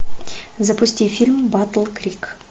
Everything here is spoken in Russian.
запусти фильм батл крик